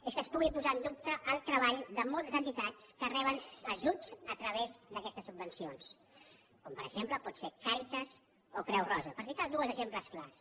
és que es pugui posar en dubte el treball de moltes entitats que reben ajuts a tra·vés d’aquestes subvencions com per exemple poden ser càritas o creu roja per ficar dos exemples clars